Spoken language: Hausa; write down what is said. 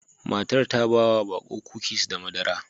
Matar ta ba wa baƙo kukis da madara.